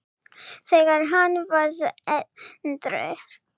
þegar hann varð edrú.